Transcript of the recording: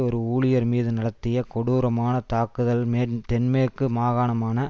ஒரு ஊழியர் மீது நடத்திய கொடூரமான தாக்குதல் தென்மேற்கு மாகாணமான